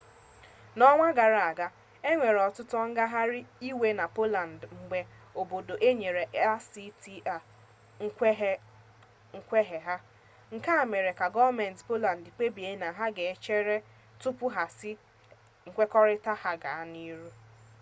n'ọnwa gara aga enwere ọtụtụ ngagharị iwe na poland mgbe obodo a nyere acta nkwenye ha nke mere ka gọọmenti poland kpebie na ha ka ga-echere tupu ha asị nkwekọrịta ahụ gaa n'ihu